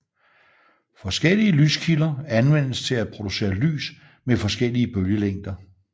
Forskellige lyskilder anvendes til at producere lys med forskellige bølgelængder